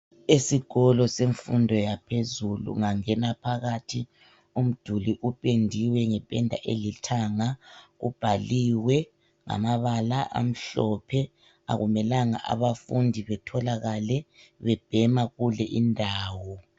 Esikolo semfundo yaphezulu. Ungangena phakathi umduli upendiwe ngependa elithanga. Ubhaliwe ngamabala amhlophe. Akumelanga abafundi betholakale bebhema kulindawo.